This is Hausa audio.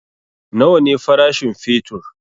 Nawa ne farashin fetur?